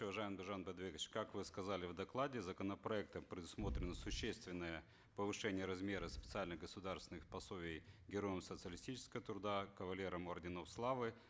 уважаемый биржан бидайбекович как вы сказали в докладе законопроектом предусмотрено существенное повышение размера специальных государственных пособий героям социалистического труда кавалерам орденов славы